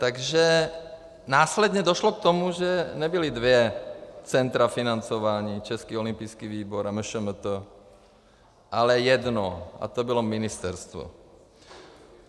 Takže následně došlo k tomu, že nebyla dvě centra financování, Český olympijský výbor a MŠMT, ale jedno, a to bylo ministerstvo.